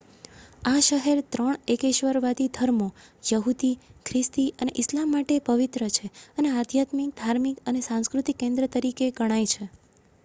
આ શહેર ત્રણ એકેશ્વરવાદી ધર્મો યહુદી ખ્રિસ્તી અને ઇસ્લામ માટે પવિત્ર છે અને આધ્યાત્મિક ધાર્મિક અને સાંસ્કૃતિક કેન્દ્ર તરીકે ગણાય છે